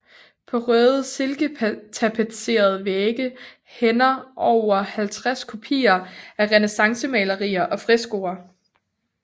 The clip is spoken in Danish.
På røde silketapetserede vægge hænder over halvtreds kopier af renæssancemalerier og freskoer